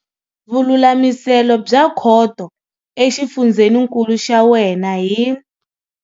Vululamiselo bya Khoto exifundzeninkulu xa wena hi.